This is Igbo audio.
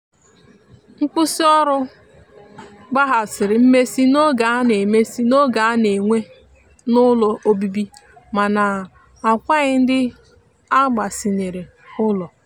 nkwụsi ọrụ gbahasiri mmesi n'oge ana mmesi n'oge ana n'enwe n'ụlọ ọbibi mana agwaghi ndi agbasinyere ụlọ.